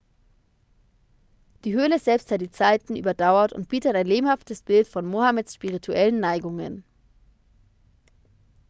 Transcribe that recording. die höhle selbst hat die zeiten überdauert und bietet ein lebhaftes bild von mohammeds spirituellen neigungen